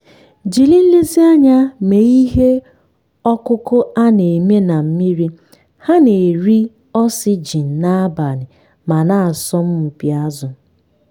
jiri nlezianya mee ihe ọkụkụ a na-eme na mmiri - ha na-eri oxygen n'abalị ma na-asọmpi azụ.